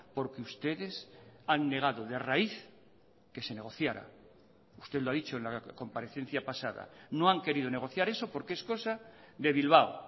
porque ustedes han negado de raíz que se negociará usted lo ha dicho en la comparecencia pasada no han querido negociar eso porque es cosa de bilbao